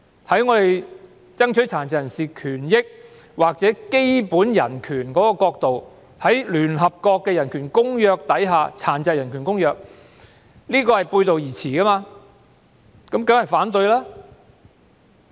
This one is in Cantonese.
從爭取殘疾人士權益或基本人權的角度看，《條例草案》與聯合國《殘疾人權利公約》背道而馳，我們當然要反對。